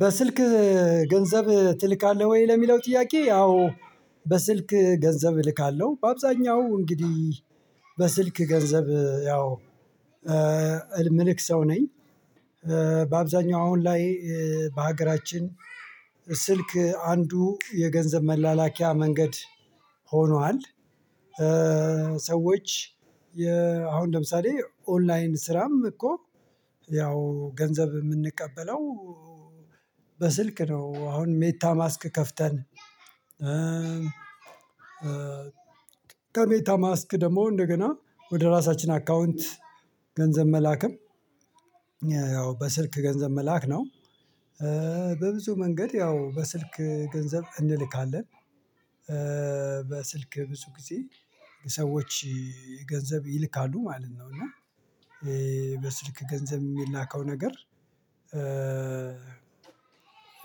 በስልክ ገንዘብ ትልካለህ ወይ? ለሚለው ጥያቄ ያው በስልክ ገንዘብ እልካለሁ በአብዛኛው እንግዲህ በስልክ ገንዘብ ያው ምልክ ሰው ነኝ በአብዛኛው አሁን ላይ በሀገራችን ስልክ አንዱ የገንዘብ መላላኪያ መንገድ ሆኗል ሰዎች አሁን ለምሳሌ ኦንላይን ስራም እኮ ያው ገንዘብ የምንቀበለው በስልክ ነው አሁን ሜታ ማስክ ከፍተን ከሜታ ማስክ ደግሞ እንደገና ወደ ራሳችን አካውንት ገንዘብ መላክም ያው በስልክ ገንዘብ መላክ ነው በብዙ መንገድ ያው በስልክ ገንዘብ እንልካለን በስልክ ብዙ ጊዜ ሰዎች ገንዘብ ይልካሉ ማለት ነው እና በስልክ ገንዘብ የሚላከው ነገር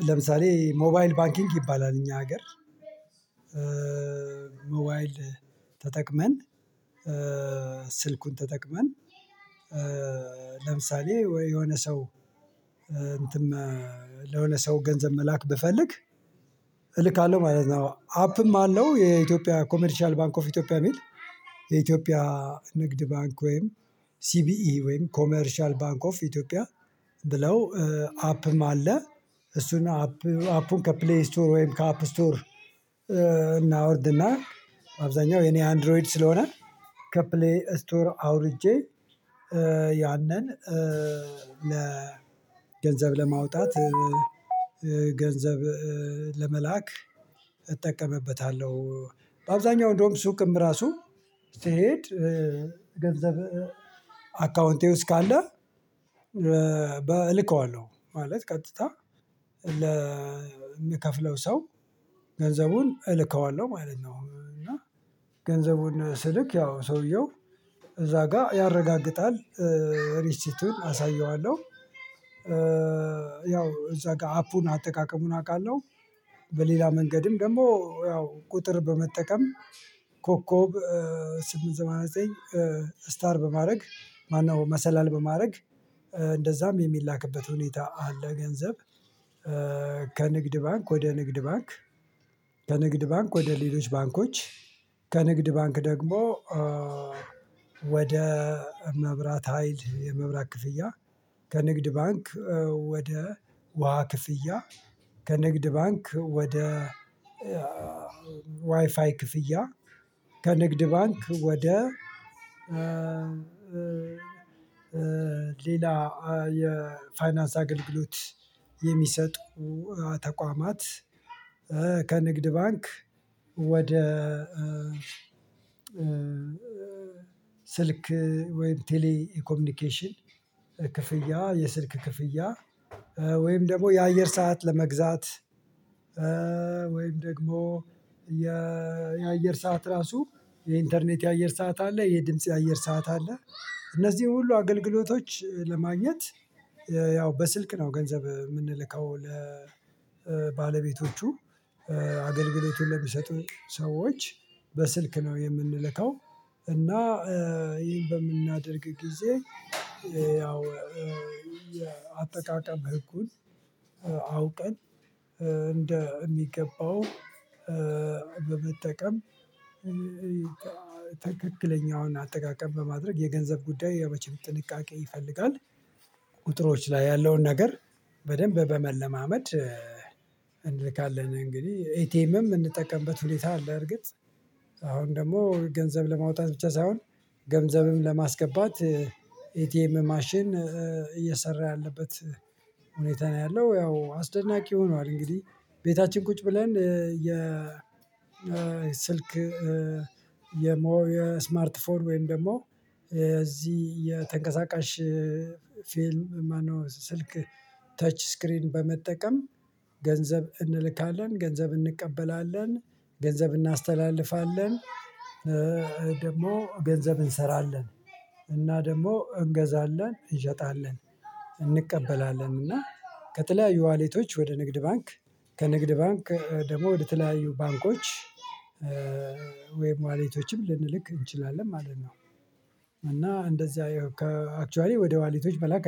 ለምሳሌ ሞባይል ባንኪንግ ይባላል እኛ ሀገር ሞባይል ተጠቅመን ስልኩን ተጠቅመን ለምሳሌ የሆነ ሰው እንትን ለሆነ ሰው ገንዘብ መላክ ብፈልግ እልካለሁ ማለት ነው አፕም አለው የኢትዮጵያ ኮሜርሻል ባንክ ኦፍ ኢትዮጵያ የሚል የኢትዮጵያ ንግድ ባንክ ወይም ሲቢኢ ወይም ኮሜርሻል ባንክ ኦፍ ኢትዮጵያ ብለው አፕም አለ እሱን አፕ አፑን ከፕሌይ ስቶር ወይም ከአፕ ስቶር እናውርድና አብዛኛው የኔ አንድሮይድ ስለሆነ ከፕሌይ ስቶር አውርጄ ያንን ለ ገንዘብ ለማውጣት ገንዘብ ለመላክ እጠቀምበታለሁ። በአብዛኛው እንደውም ሱቅም ራሱ ስሄድ ገንዘብ አካውንቴ ውስጥ ካለ እልከዋለሁ ማለት ቀጥታ ለምከፍለው ሰው ገንዘቡን እልከዋለሁ ማለት ነው እና ገንዘቡን ስልክ ያው ሰውየው እዛ ጋር ያረጋግጣል ሪሲቲውን አሳየዋለሁ ያው እዛ ጋር አፑን አጠቃቀሙን አውቃለሁ በሌላ መንገድም ደግሞ ያው ቁጥር በመጠቀም ኮከብ ስምንት ሰማንያ ዘጠኝ ስታር በማድረግ ማነው መሰላል በማድረግ እንደዛም የሚላክበት ሁኔታ አለ ገንዘብ ከንግድ ባንክ ወደ ንግድ ባንክ ከንግድ ባንክ ወደ ሌሎች ባንኮች ከንግድ ባንክ ደግሞ ወደ መብራት ሀይል የመብራት ክፍያ ከንግድ ባንክ ወደ ውሃ ክፍያ ከንግድ ባንክ ወደ ዋይፋይ ክፍያ ከንግድ ባንክ ወደ ሌላ የፋይናንስ አገልግሎት የሚሰጡ ተቋማት ከንግድ ባንክ ወደ ስልክ ወይም ቴሌ ኮሚኒኬሽን ክፍያ የስልክ ክፍያ ወይም ደግሞ የአየር ሰዓት ለመግዛት ወይም ደግሞ የየአየር ሰዓት ራሱ የኢንተርኔት የአየር ሰዓት አለ የድምጽ የአየር ሰዓት አለ እነዚህን ሁሉ አገልግሎቶች ለማግኘት ያው በስልክ ነው ገንዘብ የምንልከው ለባለቤቶቹ አገልግሎቱን ለሚሰጡን ሰዎች በስልክ ነው የምንልከው እና ይሄን በምናደርግ ጊዜ ያው አጠቃቀም ህጉን አውቀን እንደሚገባው በመጠቀም ትክክለኛውን አጠቃቀም በማድረግ የገንዘብ ጉዳይ ያው መቼም ጥንቃቄ ይፈልጋል ቁጥሮች ላይ ያለውን ነገር በደንብ በመለማመድ እንልካለን እንግዲህ ኤቲኤምም እንጠቀምበት ሁኔታ አለ በርግጥ አሁን ደግሞ ገንዘብ ለማውጣት ብቻ ሳይሆን ገንዘብም ለማስገባት ኢቲኤም ማሽን እየሰራ ያለበት ሁኔታ ነው ያለው ያው አስደናቂ ሆኗል እንግዲህ ቤታችን ቁጭ ብለን የ ስልክ የስማርት ፎን ወይም ደግሞ የዚህ የተንቀሳቃሽ ፊልም ማነው ስልክ ተች ስክሪን በመጠቀም ገንዘብ እንልካለን፣ ገንዘብ እንቀበላለን፣ ገንዘብ እናስተላልፋለን፣ ደግሞ ገንዘብ እንሰራለን እና ደግሞ እንገዛለን እንሸጣለን እንቀበላለን እና ከተለያዩ ዋሌቶች ወደ ንግድ ባንክ ከንግድ ባንክ ደግሞ ወደ ተለያዩ ባንኮች ወይም ዋሌቶችም ልንልክ እንችላለን ማለት ነው። እና እንደዚህ ከ አክችዋሊ ወደ ዋሊቶች መላክ አይቻልም።